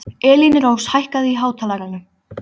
Elínrós, hækkaðu í hátalaranum.